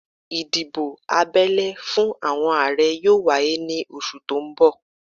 Ìdìbò abẹ́lé fún àwọn Ààrẹ yóò wáyé ní oṣù tó ń bọ̀